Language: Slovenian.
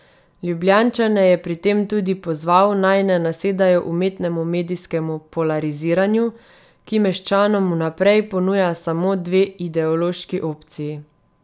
Ljubljančane je pri tem tudi pozval, naj ne nasedajo umetnemu medijskemu polariziranju, ki meščanom vnaprej ponuja samo dve ideološki opciji.